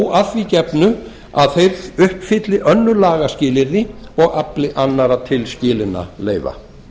þó að því gefnu að þeir uppfylli önnur lagaskilyrði og afli annarra tilskilinna leyfa